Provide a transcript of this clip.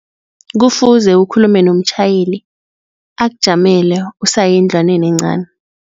Kufuze ukhulume nomtjhayeli akujamele usaye endlwaneni encani